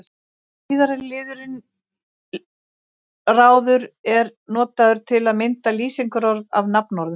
Síðara liðurinn-ráður er notaður til að mynda lýsingarorð af nafnorðum.